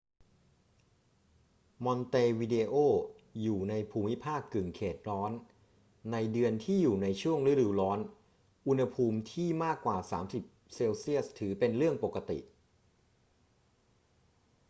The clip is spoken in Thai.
มอนเตวิเดโออยู่ในภูมิภาคกึ่งเขตร้อน ในเดือนที่อยู่ในช่วงฤดูร้อน อุณหภูมิที่มากกว่า 30°c ถือเป็นเรื่องปกติ